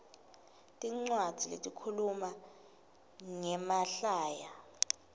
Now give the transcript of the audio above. tincwadzi letikhuluma ngemahlaya